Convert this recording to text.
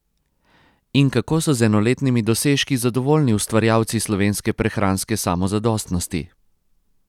In kako so z enoletnimi dosežki zadovoljni ustvarjalci slovenske prehranske samozadostnosti?